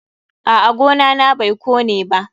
A'a, gona na bai kone ba.